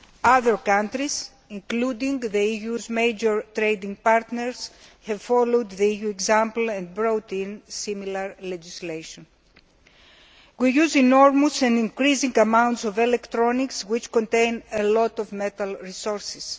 Other countries, including the EU's major trading partners, have followed the EU's example and brought in similar legislation. We use enormous and increasing amounts of electronic equipment, which contain a lot of metal resources.